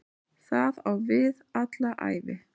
Það á við alla ævi.